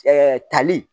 tali